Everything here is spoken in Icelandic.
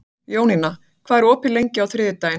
Jónína, hvað er opið lengi á þriðjudaginn?